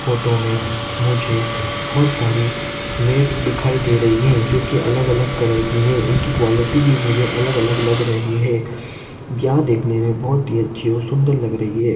Photo मे मुझे बहुत सारी मेट दिखाई दे रही है। जो कि अलग-अलग कलर कि है। इनकी क्वालिटी भी मुझे अलग-अलग लग रही है। यह देखने बहुत ही अच्छी और सुंदर लग रही है।